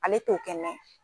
Ale t'o kɛ